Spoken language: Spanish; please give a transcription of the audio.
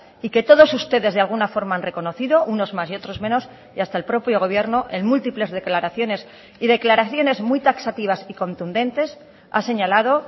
y que todos ustedes de alguna forma han reconocido unos más y otros menos y hasta el propio gobierno en múltiples declaraciones y declaraciones muy taxativas y contundentes ha señalado